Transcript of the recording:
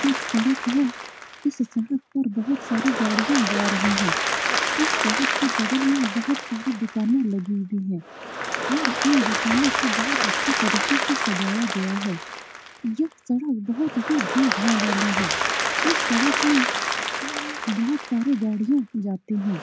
ये एक सड़क है इस सड़क पर बहुत सारी गाड़ियां जा रही है इस सड़क के बगल में बहुत सारे दुकाने लगी हुई है और इन दुकानों को बहुत अच्छी तरह से सजाया गया है यह सड़क बहुत ही भीड़ भाड़ वाली है इस सड़क में बहुत सारे गाड़ियां जाते हैं।